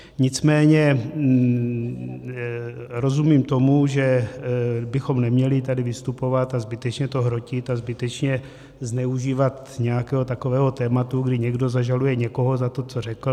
Nicméně rozumím tomu, že bychom neměli tady vystupovat a zbytečně to hrotit a zbytečně zneužívat nějakého takového tématu, kdy někdo zažaluje někoho za to, co řekl.